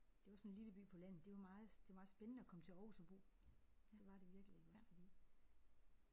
Det var sådan en lille by på landet. Det var meget det var meget spændende at komme til Aarhus at bo det var det virkelig iggås fordi